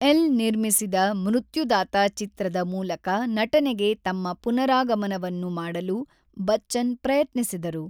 L ನಿರ್ಮಿಸಿದ 'ಮೃತ್ಯುದಾತ' ಚಿತ್ರದ ಮೂಲಕ ನಟನೆಗೆ ತಮ್ಮ ಪುನರಾಗಮನವನ್ನು ಮಾಡಲು ಬಚ್ಚನ್ ಪ್ರಯತ್ನಿಸಿದರು.